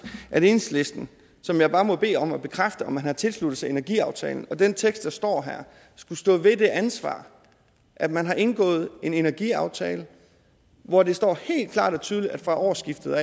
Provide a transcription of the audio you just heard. at enhedslisten som jeg må bede om at bekræfte at man har tilsluttet sig energiaftalen og den tekst der står her skulle stå ved det ansvar at man har indgået en energiaftale hvor det står helt klart og tydeligt at fra årsskiftet